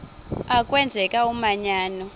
a kwenzeka umanyano